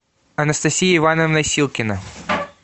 анастасия ивановна силкина